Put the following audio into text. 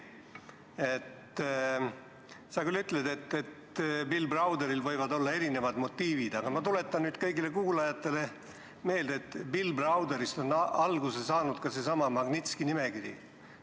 Sa küll ütled, et Bill Browderil võivad olla erinevad motiivid, aga ma tuletan kõigile kuulajatele meelde, et Bill Browderist on alguse saanud seesama Magnitski nimekiri.